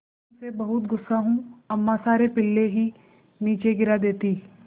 मैं तुम से बहुत गु़स्सा हूँ अम्मा सारे पिल्ले ही नीचे गिरा देतीं